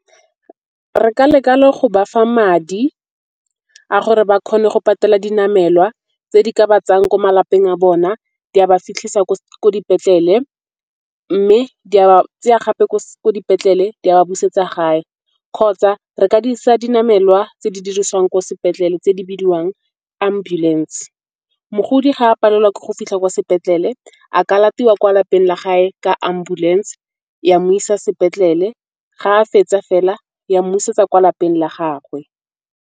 Re ka leka le go bafa madi a gore ba kgone go patela dinamelwa tse di ka ba tsayang ko malapeng a bona di a ba fitlhisa ko dipetlele. Mme di a ba tseya gape ko dipetlele di a ba busetsa gae kgotsa re ka dirisa dinamelwa tse di dirisiwang ko sepetlele tse di bidiwang ambulance. Mogodi ga a palelwa ke go fitlha kwa sepetlele a ka latiwa kwa lapeng la gae ka ambulance ya mo isa sepetlele ga a fetsa fela ya mmusetsa kwa lapeng la gagwe.